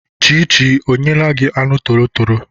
Chichi ọ nyeela gị anụ torotoro?